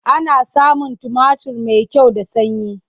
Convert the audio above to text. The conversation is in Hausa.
Ana samun tumatir mai kyau da sanyi.